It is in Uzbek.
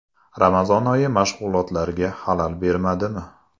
Ramazon oyi mashg‘ulotlarga xalal bermadimi?